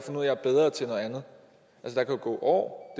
er der kan gå år